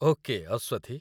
okay, ଅସ୍ୱଥି